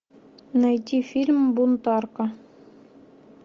найти фильм бунтарка